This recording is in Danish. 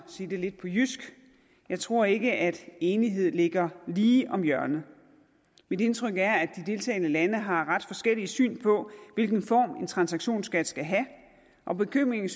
sige det lidt på jysk jeg tror ikke at en enighed ligger lige om hjørnet mit indtryk er at de deltagende lande har ret forskellige syn på hvilken form en transaktionsskat skal have og bekymringen